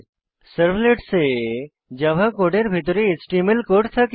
servlets এ Java কোডের ভিতরে এচটিএমএল কোড থাকে